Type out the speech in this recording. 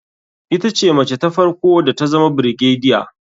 Ita ce mace ta farko da tazama brigadier.